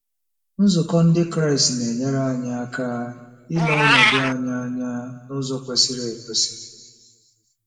Nzukọ Ndị Kraịst na-enyere anyị aka ile ọnọdụ anyị anya n'ụzọ kwesịrị ekwesị.